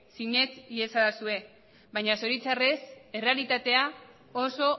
sinets iezadazue baina zoritxarrez errealitatea oso